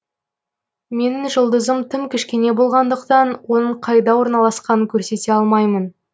менің жұлдызым тым кішкене болғандықтан оның қайда орналасқанын көрсете алмаймын